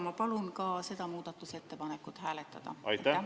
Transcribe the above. Ma palun ka seda muudatusettepanekut hääletada.